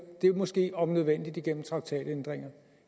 det må ske om nødvendigt igennem traktatændringer